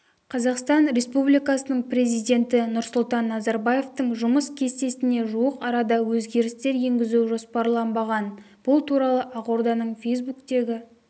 қазақстан республикасының президенті нұрсұлтан назарбаевтың жұмыс кестесіне жуық арада өзгерістер енгізу жоспарланбаған бұл туралы ақорданың фейсбуктегі